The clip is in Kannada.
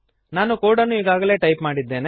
ನಾನು ಕೋಡನ್ನು ಈಗಾಗಲೇ ಟೈಪ್ ಮಾಡಿದ್ದೇನೆ